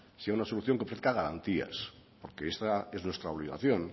sea una solución que ofrezca garantías porque es nuestra obligación